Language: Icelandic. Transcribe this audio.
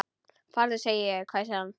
Farðu sagði ég, hvæsir hann.